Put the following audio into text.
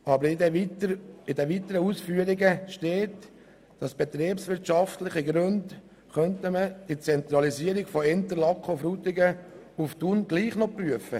Aber in den weiteren Ausführungen heisst es, aus betriebswirtschaftlichen Gründen könnte man die Zentralisierung von Interlaken und Frutigen nach Thun doch noch prüfen.